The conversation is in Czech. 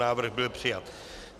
Návrh byl přijat.